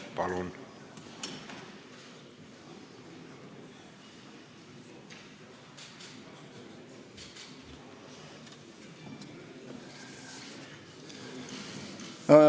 Palun!